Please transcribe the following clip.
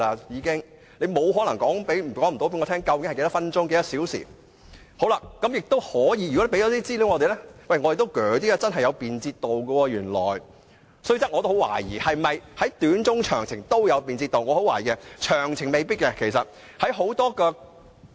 如果能向我們提供這些資料，我們也會較信服政府的理據，知道原來高鐵真的很便捷，雖然我也懷疑是否短、中、長途旅程都有便捷度，我懷疑長程未必會有。